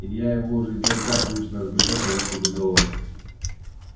илья его уже издалека привычно разглядел поверх чужих голов